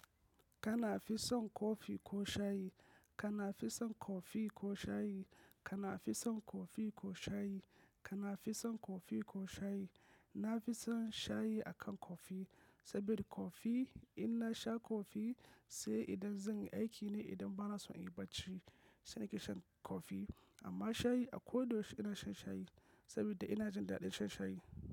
Kana fi son kofi ko shayi? Kana fi son kofi ko shayi? Kana fi son kofi ko shayi? Kana fi son kofi ko shayi? Na fi son shayi akan kofi. Saboda kofi, in na sha kofi sai idan zan aiki ne idan bana son in yi barci sai nake shan kofi. Amma shayi a ko da yaushe ina shan shayi saboda ina jin daɗin shan shayi.